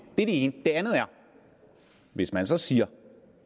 er det ene det andet er hvis man så siger